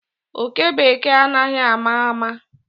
Oke Bekee anaghi ama ama.